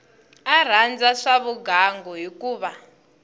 a rhandza swa vugangu hikuva